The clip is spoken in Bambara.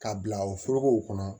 K'a bila o forokow kɔnɔ